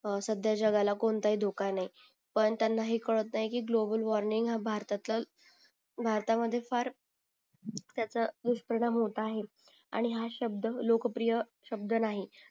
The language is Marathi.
हा सध्या जगाला कोणताही दोखा नाही पण त्यांना हे काळत नाही की ग्लोबल वॉर्मिंग हा भारतातला भारतामधीं फार त्याचा दुष्परिणाम होत आहे आणि हा शब्द लोकप्रिय शब्द नाही